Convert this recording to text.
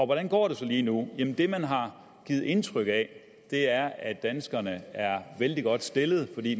hvordan går det så lige nu jamen det man har givet indtryk af er at danskerne er vældig godt stillet fordi